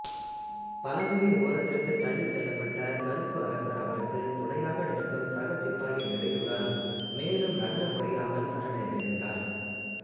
பலகையின் ஓரத்திற்கு தள்ளிச்செலப்பட்ட கருப்பு அரசர் அவருக்கு துணையாக நிற்கும் சக சிப்பாயின் இடையூறால் மேலும் நகர முடியாமல் சரணடைகிறார்